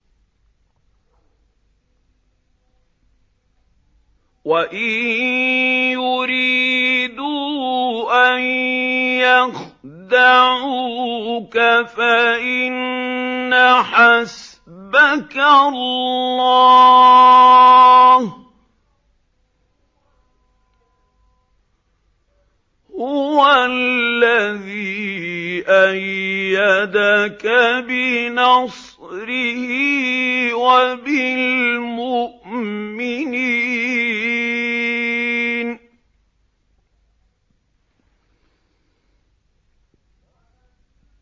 وَإِن يُرِيدُوا أَن يَخْدَعُوكَ فَإِنَّ حَسْبَكَ اللَّهُ ۚ هُوَ الَّذِي أَيَّدَكَ بِنَصْرِهِ وَبِالْمُؤْمِنِينَ